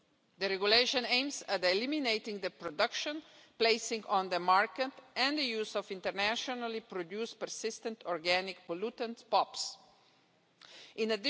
The Regulation aims at eliminating the production, placing on the market and use of internationally produced persistent organic pollutants In